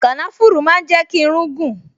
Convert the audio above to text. Kànáfùrù máa ń jẹ́ kí irún gùn